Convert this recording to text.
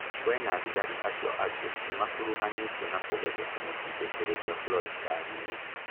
We na thigari acio angĩ nĩmakuruhanĩtio na kũgeria kũmũtindĩkĩrĩria Floyd ngari-inĩ